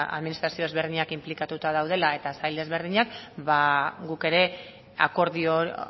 ba administrazio ezberdinak inplikatuta daudela eta sail desberdinak ba guk ere akordio